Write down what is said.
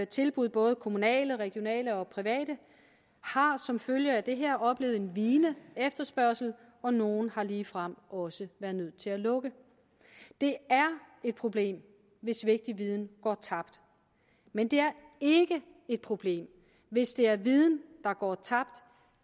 tilbud både kommunale regionale og private har som følge af det her oplevet en vigende efterspørgsel og nogle har ligefrem også været nødt til at lukke det er et problem hvis vigtig viden går tabt men det er ikke et problem hvis det er viden der går tabt